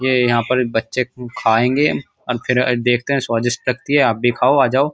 ये यहाँ पर बच्चे खाएंगे और फिर देखते हैं स्वादिष्ट लगती है आप भी खाओ आ जाओ।